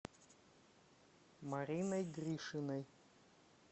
мариной гришиной